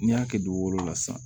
N'i y'a kɛ dugukolo la sisan